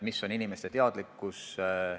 Milline on inimeste teadlikkus?